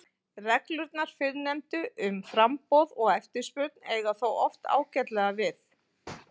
Reglurnar fyrrnefndu um framboð og eftirspurn eiga þó oft ágætlega við.